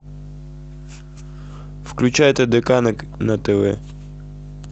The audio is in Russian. включай тдк на тв